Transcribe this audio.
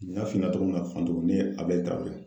N y'a f'i ɲɛna cogo min na Fanga, ne tɔgɔ ye ko Abdulayi Traore.